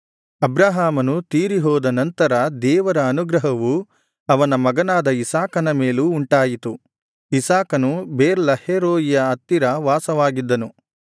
ಅಬ್ರಹಾಮನು ತೀರಿಹೋದ ನಂತರ ದೇವರ ಅನುಗ್ರಹವು ಅವನ ಮಗನಾದ ಇಸಾಕನ ಮೇಲೂ ಉಂಟಾಯಿತು ಇಸಾಕನು ಬೆರ್ ಲಹೈರೋಯಿಯ ಹತ್ತಿರ ವಾಸವಾಗಿದ್ದನು